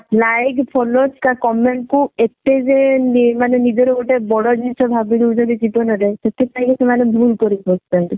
like followers ବା comment କୁ ଏତେ ଯେ ମାନେ ନିଜର ଗୋଟେ ବଡ ଜିନିଷ ଭାବିଦଉଛନ୍ତି ଜୀବନ ରେ ସେଥିପାଇଁ ସେମାନେ ଭୁଲ କରି ବସୁଛନ୍ତି